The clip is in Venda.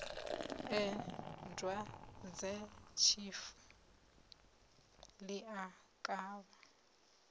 ee dwadzetshifu ḽi a kavha